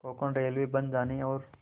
Konkan railway बन जाने और